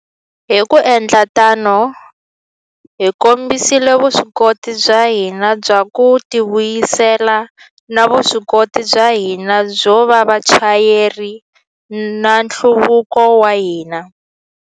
Hi ku endla tano, hi kombisile vuswikoti bya hina bya ku tivuyisela na vuswikoti bya hina byo va vachayeri va nhluvuko wa hina.